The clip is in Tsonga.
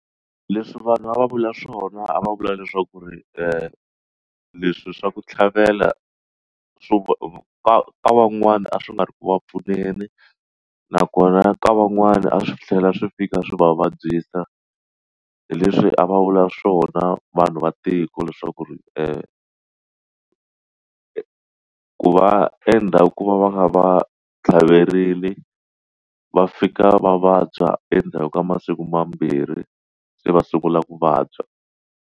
Leswi vanhu a va vula swona a va vula leswaku ri leswi swa ku tlhavela swo ka ka van'wana a swi nga ri ku pfuneni nakona ka van'wana a swi tlhela swi fika swi va vabyisa leswi a va vula swona vanhu va tiko leswaku eku va endla ku va va kha va tlhaverile va fika va vabya endzhaku ka masiku mambirhi se va sungula ku vabya.